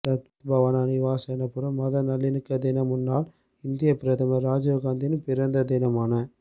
சத்பவனா திவாஸ் எனப்படும் மத நல்லிணக்க தினம் முன்னாள் இந்தியப் பிரதமர் ராஜீவ் காந்தியின் பிறந்த தினமான